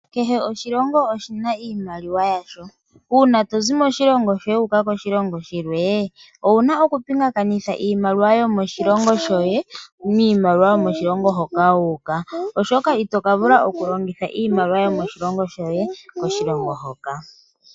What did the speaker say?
Kehe oshilongo oshina iimaliwa yasho uuna tozi moshilongo shoye wuuka koshilongo shilwe owuna oku pingakanitha iimaliwa yomoshilongo shoye niimaliwa yomoshilongo hoka wuuka, oshoka itoka vula oku longitha iimaliwa yomoshilongo shoye koshilongo hoka.